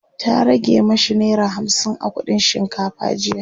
ta rage mashi naira hamsin a kuɗin shinkafa jiya